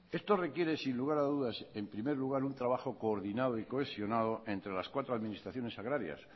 esto requiere sin lugar a dudas en primer lugar un trabajo coordinado y cohesionado entre las cuatro administraciones agrarias